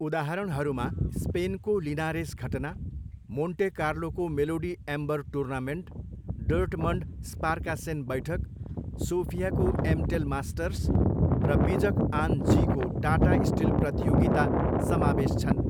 उदाहरणहरूमा स्पेनको लिनारेस घटना, मोन्टे कार्लोको melody amber tournament, Dortmund Sparkassen बैठक, सोफियाको एमटेल मास्टर्स, र विजक आन जीको टाटा स्टिल प्रतियोगिता समावेश छन्।